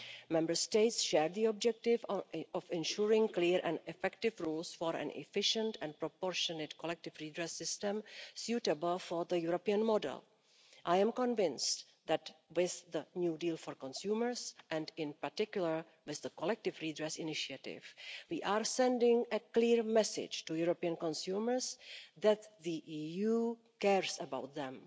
Member States share the objective of ensuring clear and effective rules for an efficient and proportionate collective redress system suitable for the European model. I am convinced that, with the new deal for consumers, and in particular with the collective redress initiative, we are sending a clear message to European consumers that the EU cares about them.